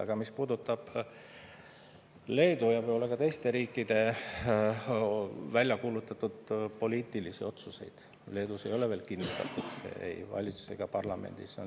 Aga mis puudutab Leedu ja võib-olla ka teiste riikide väljakuulutatud poliitilisi otsuseid, siis Leedus ei ole see otsus veel kinnitatud ei valitsuses ega parlamendis.